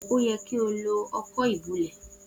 O yẹ ki o lo ọkọ́ ìbulẹ̀.